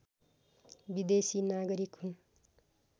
विदेशी नागरिक हुन्